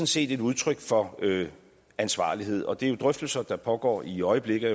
set et udtryk for ansvarlighed og det er jo drøftelser der pågår i øjeblikket